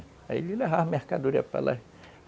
Aí ele levava mercadoria para lá.